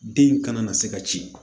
Den in kana na se ka ci